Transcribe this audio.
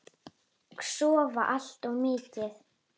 Og sofa allt of mikið.